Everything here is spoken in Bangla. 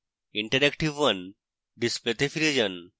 interactive 1 ডিসপ্লেতে ফিরে যান